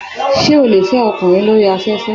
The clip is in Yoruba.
Ṣé o lè fẹ́ ọkùnrin lórí afẹ́fẹ́?